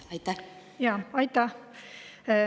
Aitäh!